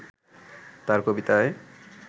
তাঁর কবিতায়